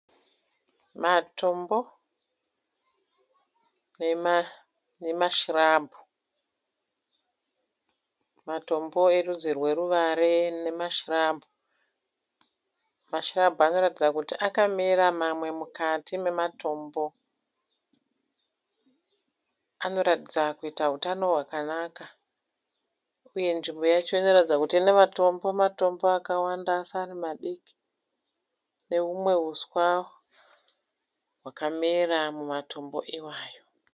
Matombo nemashirabhu. Matombo erudzi rweruware nemashirabhu. Mashirabhu anoratidza kuti akamera mamwe mukati mematombo. Anoratidza kuita hutano hwakanaka uye nzvimbo yacho inoratidza kuti ine matombo-matombo akawanda asi ari madiki nehumwe huswa hwakamera mumatombo iwayo.